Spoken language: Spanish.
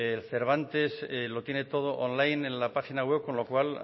el cervantes lo tiene todo online en la página web con lo cual